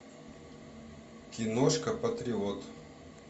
киношка патриот